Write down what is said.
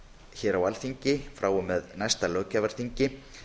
hér á alþingi frá og með næsta löggjafarþingi